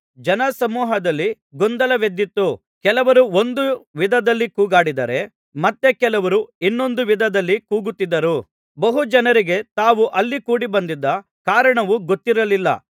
ಜನಸಮೂಹದಲ್ಲಿ ಗೊಂದಲವೆದ್ದಿತು ಕೆಲವರು ಒಂದು ವಿಧದಲ್ಲಿ ಕೂಗಾಡಿದರೆ ಮತ್ತೆ ಕೆಲವರು ಇನ್ನೊಂದು ವಿಧದಲ್ಲಿ ಕೂಗುತ್ತಿದ್ದರು ಬಹುಜನರಿಗೆ ತಾವು ಅಲ್ಲಿ ಕೂಡಿ ಬಂದಿದ್ದ ಕಾರಣವು ಗೊತ್ತಿರಲಿಲ್ಲ